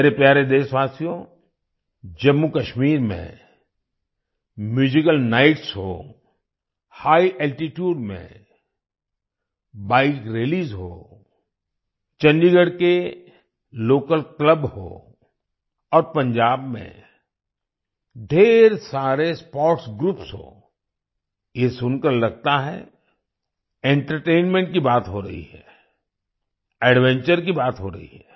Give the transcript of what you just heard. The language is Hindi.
मेरे प्यारे देशवासियो जम्मूकश्मीर में म्यूजिकल नाइट्स हों हिघ अल्टीट्यूड्स में बाइक रैलीज हों चंडीगढ़ के लोकल क्लब्स हों और पंजाब में ढेर सारे स्पोर्ट्स ग्रुप्स हों ये सुनकर लगता है एंटरटेनमेंट की बात हो रही है एडवेंचर की बात हो रही है